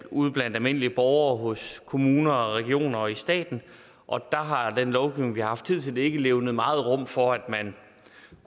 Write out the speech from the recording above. ude blandt almindelige borgere hos kommuner og regioner og i staten og der har den lovgivning vi har haft hidtil ikke levnet meget rum for at man